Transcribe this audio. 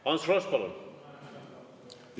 Ants Frosch, palun!